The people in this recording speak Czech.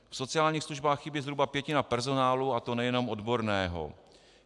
V sociálních službách chybí zhruba pětina personálu, a to nejenom odborného.